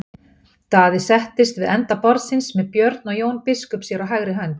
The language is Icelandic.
Daði settist við enda borðsins með Björn og Jón biskup sér á hægri hönd.